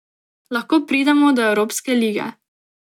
Lahko pridemo do evropske lige.